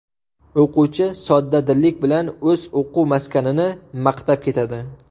O‘quvchi soddadillik bilan o‘z o‘quv maskanini maqtab ketadi.